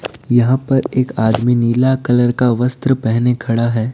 यहां पर एक आदमी नीला कलर का वस्त्र पहने खड़ा है।